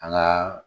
An ka